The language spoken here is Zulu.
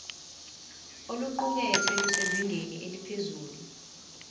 oluqukethwe lusezingeni eliphezulu